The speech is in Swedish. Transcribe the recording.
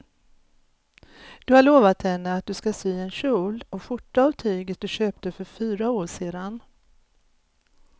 Du har lovat henne att du ska sy en kjol och skjorta av tyget du köpte för fyra år sedan.